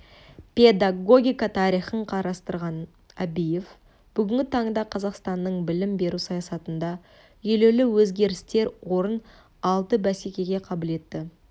педагогика тарихын қарастырған әбиев бүгінгі таңда қазақстанның білім беру саясатында елеулі өзгерістер орын алды бәсекеге қабілетті